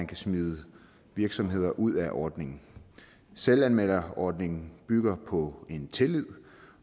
kan smide virksomheder ud af ordningen selvanmelderordningen bygger på en tillid